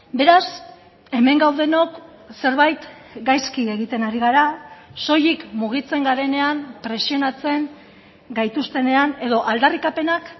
beraz hemen gaudenok zerbait gaizki egiten ari gara soilik mugitzen garenean presionatzen gaituztenean edo aldarrikapenak